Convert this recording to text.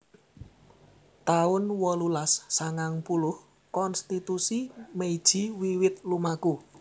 taun wolulas sangang puluh Konstitusi Meiji wiwit lumaku